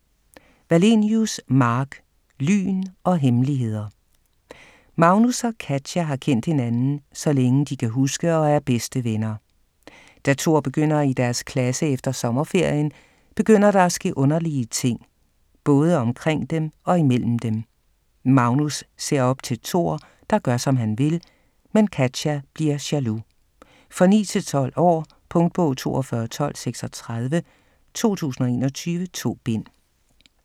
Wallenius, Mark: Lyn og hemmeligheder Magnus og Katja har kendt hinanden, så længe de kan huske, og er bedste venner. Da Thor begynder i deres klasse efter sommerferien, begynder der at ske underlige ting, både omkring dem og imellem dem. Magnus ser op til Thor, der gør, som han vil, men Katja bliver jaloux. For 9-12 år. Punktbog 421236 2021. 2 bind.